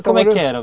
E como é que era?